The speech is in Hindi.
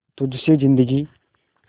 तुझ से जिंदगी